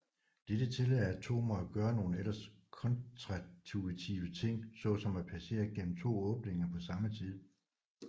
Dette tillader atomer at gøre nogle ellers kontraintuitive ting så som at passere igennem to åbninger på samme tid